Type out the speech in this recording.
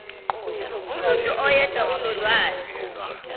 umuntu oyedwa onolwazi